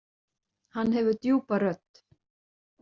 Hann hefur djúpa rödd.